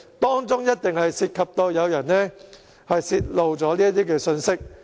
當中一定涉及有人泄露這些信息。